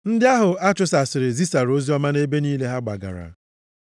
Ndị ahụ a chụsasịrị zisara oziọma nʼebe niile ha gbagara.